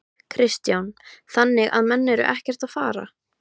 Kristján: Þannig að menn eru ekkert að fara?